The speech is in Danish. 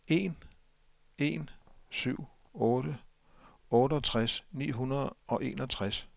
en en syv otte otteogtres ni hundrede og enogtres